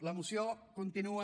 la moció continua